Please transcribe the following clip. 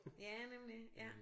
Ja nemlig ja